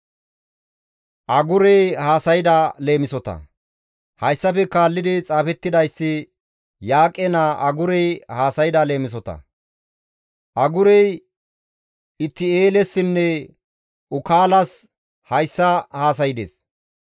Hayssafe kaallidi xaafettidayssi Yaaqe naa Agurey haasayda leemisota. Agurey Itti7eelessinne Ukaalas hayssa haasaydes.